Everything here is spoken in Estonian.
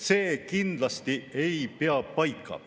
See kindlasti ei pea paika.